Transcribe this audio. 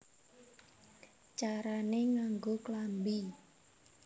Carané Nganggo Klambi